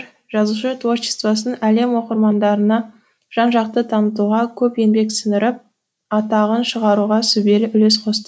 жазушы творчествосын әлем оқырмандарына жан жақты танытуға көп еңбек сіңіріп атағын шығаруға сүбелі үлес қосты